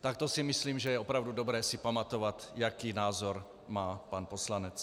Tak to si myslím, že je opravdu dobré si pamatovat, jaký názor má pan poslanec.